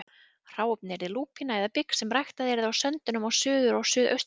Hráefnið yrði lúpína eða bygg sem ræktað yrði á söndunum á Suður- og Suðausturlandi.